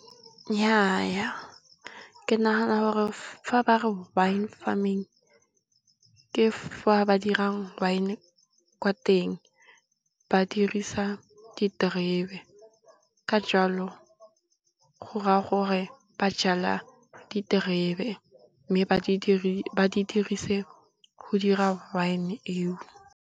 Nnyaa ke nagana gore fa ba re Wine Farming ke fa ba dira wine kwa teng, ba dirisa diterebe ka jalo go raya gore ba jwala diterebe mme, ba di dirise go dira wine eo.